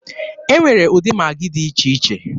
E nwere ụdị Magị dị iche iche.